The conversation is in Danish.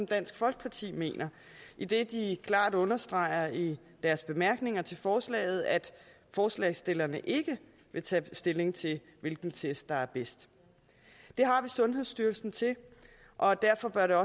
dansk folkeparti mener idet de klart understreger i deres bemærkninger til forslaget at forslagsstillerne ikke vil tage stilling til hvilken test der er bedst det har vi sundhedsstyrelsen til og derfor bør der